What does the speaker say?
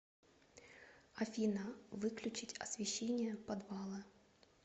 афина выключить освещение подвала